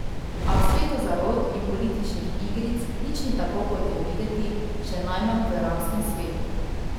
A v svetu zarot in političnih igric nič ni tako kot je videti, še najmanj v arabskem svetu.